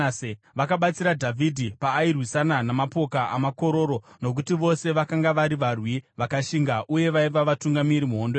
Vakabatsira Dhavhidhi paairwisana namapoka amakororo, nokuti vose vakanga vari varwi vakashinga uye vaiva vatungamiri muhondo yake.